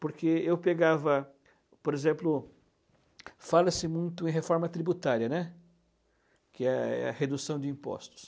Porque eu pegava, por exemplo, fala-se muito em reforma tributária, né, que é a redução de impostos.